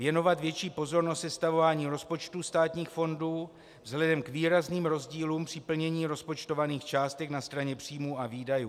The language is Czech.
Věnovat větší pozornost sestavování rozpočtů státních fondů vzhledem k výrazným rozdílům při plnění rozpočtovaných částek na straně příjmů a výdajů.